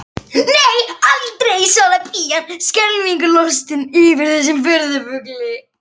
Nei, aldrei, svarar pían skelfingu lostin yfir þessum furðufugli.